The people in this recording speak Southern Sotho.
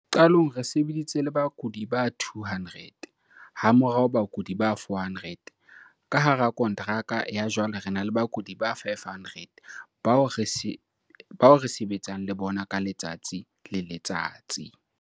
Qalong re sebeditse le bakudi ba 200, hamorao bakudi ba 400, ka hara kontraka ya jwale re na le bakudi ba 500 bao re sebetsang le bona ka letsatsi le letsatsi.